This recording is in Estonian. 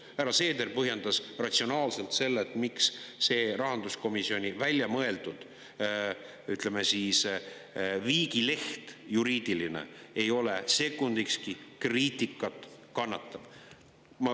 Härra Seeder põhjendas ratsionaalselt, miks see rahanduskomisjoni välja mõeldud, ütleme, juriidiline viigileht ei ole sekundikski kriitikat kannatav.